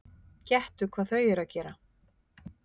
Gettu hvað þau eru að gera?